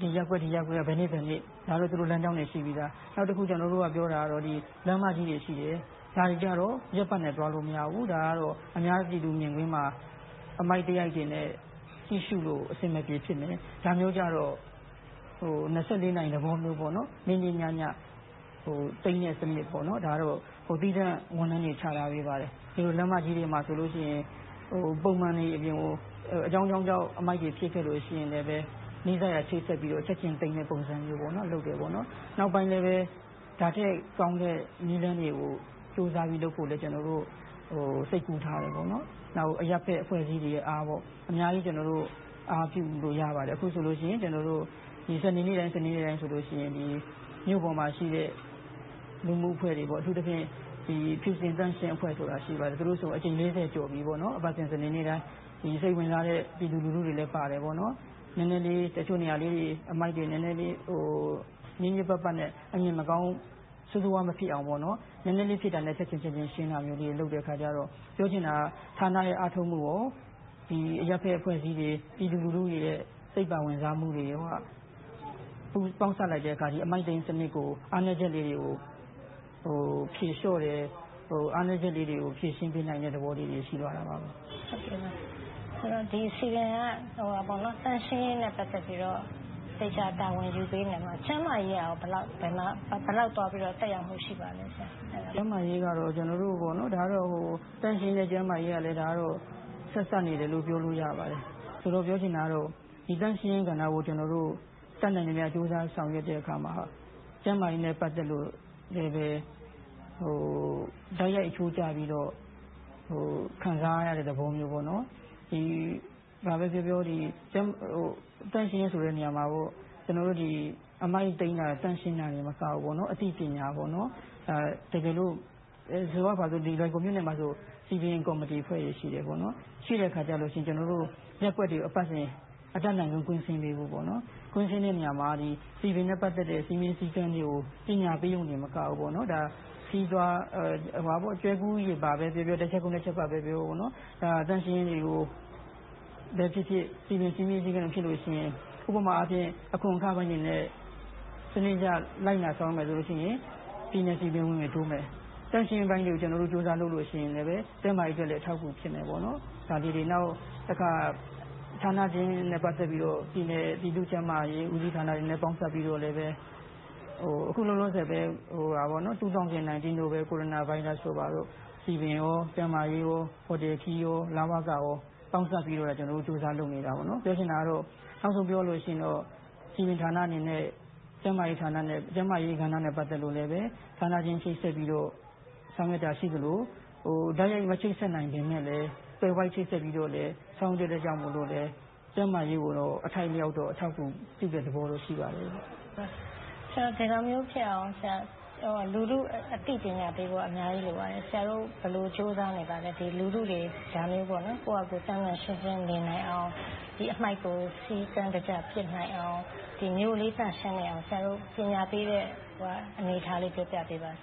ဒီရပ်ကွက်က ဘယ်နေ့ဘယ်အချိန်ဆိုပြီး သူတို့ လမ်းကြောင်းတွေ ရှိပြီသား။ နောက်တခု ကျနော်တို့ပြောတာက လမ်းမကြီးတွေရှိတယ်။ ဒါတွေကြတော့ ရက်ပတ်နဲ့ သွားလို့မရဘူး။ ဒါကတော့ အများပြည်သူမြင်ကွင်းမှာ အမှိုက်သရိုက်တွေနဲ့ ကြည့်ရှုလို့ အဆင်မပြေဖြစ်မယ်။ ဒါမျိုးကြတော့ နာရီ သဘောမျိုး နေ့နေ့ညည သိမ်းတဲ့စနစ်။ ဒါကတော့ သီးသန့်ဝန်ထမ်းတွေချထားပေးပါတယ်။ လမ်းမကြီးတွေမှာဆိုရင် ပုံမှန်အပြင်ကို အကြောင်းကြောင်းကြောင့် အမှိုက်တွေပစ်ခဲ့လို့ ရှိရင်လဲ၊ နီးစပ်ရာ ချိတ်ဆက်ပြီးတော့ ချက်ချင်းသင်တဲ့ပုံစံမျိုး လုပ်တယ်။ နောက်ပိုင်းလဲ ဒါထက်ကောင်းတဲ့ နည်းလမ်းတွေကို ကြိုးစားပြီးလုပ်ဖို့လည်း စိတ်ကူးထားပါတယ်။ နောက် အရပ်ဖက်အဖွဲ့အစည်းတွေရဲ့ အားကိုလည်း အများကြီး အားပြုလို့ရပါတယ်။ အခုဆိုလို့ရှိရင် စနေနေ့တိုင်းဆိုရင် မြို့ပေါ်မှာရှိတဲ့ လူမှုအဖွဲ့တွေ။ အထူးသဖြင့် ဖြူစင်သန့်ရှင်းအဖွဲ့ဆိုတာ ရှိပါတယ်။ သူတို့ဆိုရင် အကြိမ်လေးဆယ်ကျော်ပြီး အပတ်စဉ် စနေနေ့တိုင်း စိတ်ဝင်စားတဲ့ ပြည်သူလူထုတွေလည်းပါတယ်။ နည်းနည်းလေး တချို့နေရာလေးတွေ အမှိုက်တွေ ညစ်ညစ်ပတ်ပတ်နဲ့ အမြင်မကောင်း၊ ဆိုးဆိုးဝါးဝါး မဖြစ်အောင် နည်းနည်းလေးဖြစ်တာနဲ့ ချက်ချင်းရှင်းတာမျိုးတွေ လုပ်တဲ့အခါကြတော့ ပြောချင်တာက ဌာနရဲ့ အားထုတ်မှုကော၊ အရပ်ဘက်အဖွဲ့အစည်းတွေ၊ ပြည်သူလူထုတွေရဲ့ စိတ်ပါဝင်စားမှုတွေကို ပေါင်းစပ်လိုက်တဲ့အခါ အမှိုက်သိမ်းစနစ်ကို အားနည်းချက်လေးတွေကို ဖြေလျှော့တယ်။ အားနည်းချက်လေးတွေကို ဖြေရှင်းပေးနိုင်တဲ့ သဘောလေးတွေ ရှိသွားတာပါ။ ဆိုတော့ စည်ပင်က သန့်ရှင်းရေးနဲ့ ပတ်သက်ပြီးတော့ သေချာတာဝန်ယူပေးနေတယ်။ ကျန်းမာရေးကရော ဘယ်လောက် သွားပြီးတော့ သက်ရောက်မှု ရှိပါသလဲ။ ကျန်းမာရေးကတော့ သန့်ရှင်းနဲ့ ကျန်းမာရေးက ဆက်စပ်နေတယ်လို့ ပြောလို့ရပါတယ်။ ပြောချင်တာကတော့ သန့်ရှင်းရေးကဏ္ဍကို ကျနော်တို့ တတ်နိုင်သမျှ ကြိုးစားဆောင်ရွက်တဲ့အခါမှာ ကျန်းမာရေးနဲ့ ပတ်သက်လို့ တိုက်ရိုက်အချိုးကျပြီးတော့ ခံစားရတဲ့သဘောမျိုး ရှိပါတယ်။ ဘာပဲပြောပြော သန့်ရှင်းဆိုတဲ့နေရာမှာ အမှိုက်သိမ်းတာ၊ သန့်ရှင်းတာတင်မကဘူး၊ အသိပညာပေးတာ - ဆိုကြပါစို့ ဒီလွိုင်ကော်မြို့မှာဆို စည်ပင်ကော်မတီအဖွဲ့တွေ ရှိတယ်။ ရှိတဲ့အခါကြရင် ရပ်ကွက်တွေကို အပတ်စဉ် အတတ်နိုင်ဆုံး ကွင်းဆင်းပေးဖို့။ ကွင်းဆင်းတဲ့နေရာမှာ စည်ပင်နဲ့ ပတ်သက်တဲ့ စည်းမျဉ်းစည်းကမ်းတွေကို ပညာပေးရုံတင်မကဘူး၊ ကျွဲကူးရေပါ ဆိုသလို၊ တစ်ချက်ခုတ် နှစ်ချက်ပြတ် ဆိုသလို သန့်ရှင်းရေးတွေကိုပဲဖြစ်ဖြစ်၊ စည်ပင်စည်းမျဉ်းစည်းကမ်း ဖြစ်လို့ရှိရင်၊ ဥပမာအနေဖြင့် အခွန်အခပိုင်းတွေ စနစ်တကျ လိုက်နာဆောင်ရွက်မယ်ဆိုရင် ပြည်နယ်စည်ပင်ဝင်ငွေတိုးမယ်။ သန့်ရှင်းရေးပိုင်းတွေကို ကျနော်တို့ ကြိုးစားလုပ်လို့ရှိရင်လဲ ကျန်းမာရေးအတွက်လည်း အထောက်အကူ ဖြစ်မယ်။ နောက်တခါ ဌာနချင်းနဲ့ ပတ်သက်လို့ ပြည်နယ် ပြည်သူ့ကျန်းမာရေးဦးစီးဌာနတွေနဲ့ ပေါင်းစပ်ပြီးတော့လဲ။ အခုလောလောဆယ်ပဲ ၂၀၂၀ ကိုရိုနာဗိုင်းရပ်စ်တို့ ဘာတို့ စည်ပင်၊ ကျန်းမာရေး၊ ဟိုတယ်ခရီး၊ လဝက ပေါင်းစပ်ပြီးတော့ ကျနော်တို့ ကြိုးစားလုပ်နေပါတယ်။ ပြောဆိုချင်တာက စည်ပင်ဌာနအနေနဲ့ ကျန်းမာရေးကဏ္ဍနဲ့ ပတ်သက်လို့လဲ ဌာနချင်း ချိတ်ဆက်ပြီးတော့ ဆောင်ရွက်တာရှိသလို၊ တိုက်ရိုက်မချိတ်ဆက် နိုင်ပေမယ့်လဲ သွယ်ဝိုက်ချိတ်ဆက်ပြီးတော့လဲ ဆောင်ရွက်ခဲ့တာကြောင့်လဲ ကျန်းမာရေးကိုတော့ အထိုက်အလျောက်တော့ အထောက်အကူပြုတဲ့ သဘောတော့ ရှိပါတယ်။ ဒီလိုမျိုးဖြစ်အောင် လူထုအသိပညာပေးဖို့က အများကြီးလိုပါတယ်။ ဆရာတို့ ဘယ်လိုကြိုးစားနေပါလဲ။ လူထုတွေ သန့်သန့်ရှင်းရှင်းနေနိုင်အောင် အမှိုက်တွေကို စည်းကမ်းတကျ ပစ်နိုင်အောင်၊ မြို့လေးသန့်ရှင်းအောင် ဆရာတို့ ပညာပေးတဲ့ အနေအထားလေးကို ပြောပြပေးပါ။